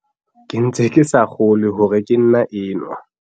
"Ke ntse ke sa kgolwe hore ke nna enwa."